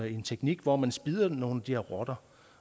en teknik hvor man spidder nogle af de her rotter